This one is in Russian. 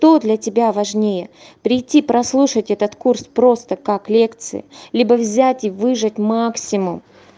то для тебя важнее прийти прослушать этот курс просто как лекции либо взять и выжать максимум